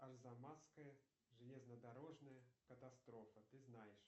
арзамасская железнодорожная катастрофа ты знаешь